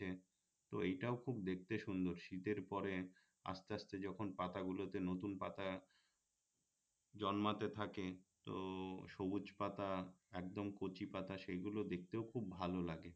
তো এইটাও খুব দেখতে সুন্দর শীতের পরে আস্তে আস্তে যখন পাতাগুলোতে নতুন পাতা জন্মাতে থাকে তো সবুজ পাতা একদম কচি পাতা সেগুলো দেখতেও খুব ভালো লাগে